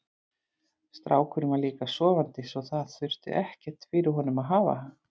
Strákurinn var líka sofandi svo það þurfti ekkert fyrir honum að hafa.